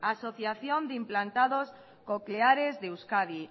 asociación de implantados cocleares de euskadi